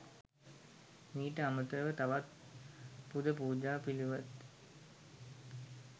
මීට අමතරව තවත් පුද පූජා පිළිවෙත්